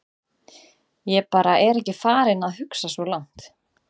Ég bara er ekki farinn að hugsa svo langt.